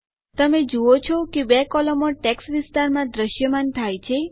તમે જુઓ છો કે ૨ કોલમો ટેક્સ્ટ વિસ્તારમાં દ્રશ્યમાન થાય છે